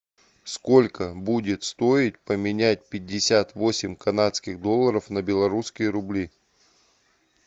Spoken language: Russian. сколько будет стоить поменять пятьдесят восемь канадских долларов на белорусские рубли